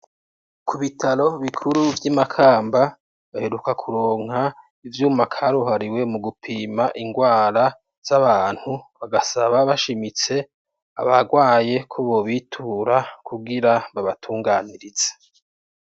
Ku bitaro bikuru vy'imakamba baheruka kuronka ivyuma karuhariwe mu gupima ingwara z'abantu bagasaba bashimitse abagwaye kubo bitura kubwira babatunganirize.